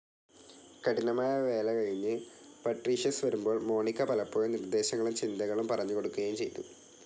കഠിനമായ വേലകഴിഞ്ഞു പട്രീഷ്യസ് വരുമ്പോൾ മോണിക്ക പലപ്പോഴും നിർദേശങ്ങളും ചിന്തകളും പറഞ്ഞുകൊടുക്കുകയുംചെയ്തു.